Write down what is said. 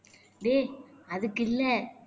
டேய் அதுக்கில்ல